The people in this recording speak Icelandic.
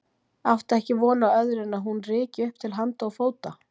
Átti ekki von á öðru en að hún ryki upp til handa og fóta.